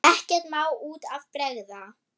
Ekkert má út af bregða.